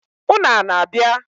Ụnụ ana-abịa?